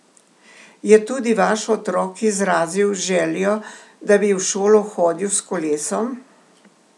Je tudi vaš otrok izrazil željo, da bi v šolo hodil s kolesom?